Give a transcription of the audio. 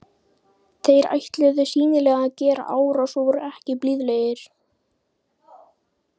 Þeir ætluðu sýnilega að gera árás og voru ekki blíðlegir.